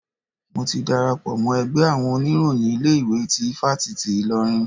Mo ti darapọ̀ mọ́ ẹgbẹ́ àwọn oníròyìn ilé ìwé tí ifáfitì Ilorin.